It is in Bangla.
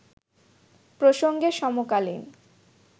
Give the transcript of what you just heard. প্রসঙ্গে সমকালীন